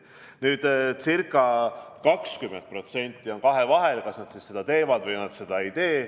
Nüüd, ca 20% on kahevahel, kas nad seda teevad või nad seda ei tee.